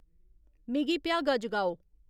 मिगी भ्यागा जगाओ